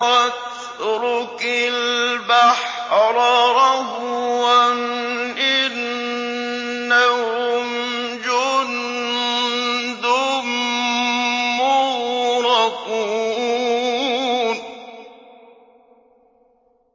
وَاتْرُكِ الْبَحْرَ رَهْوًا ۖ إِنَّهُمْ جُندٌ مُّغْرَقُونَ